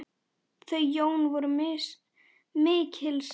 Þau Jón voru mikils virt.